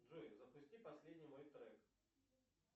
джой запусти последний мой трек